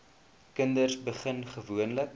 kinders begin gewoonlik